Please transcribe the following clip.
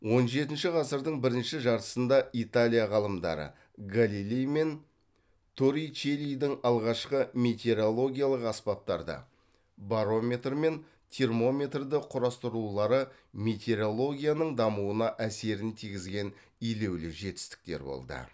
он жетінші ғасырдың бірінші жартысында италия ғалымдары галилей мен торричеллидің алғашқы метеоролгиялық аспаптарды барометр мен термометрді құрастырулары метеорологияның дамуына әсерін тигізген елеулі жетістіктер болды